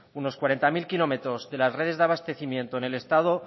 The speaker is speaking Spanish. unos cuarenta mil kilómetros de las redes de abastecimiento en el estado